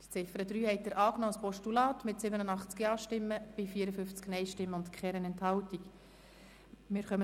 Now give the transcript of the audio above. Sie haben die Ziffer 3 als Postulat mit 87 Ja- gegen 54 Nein-Stimmen bei 0 Enthaltungen angenommen.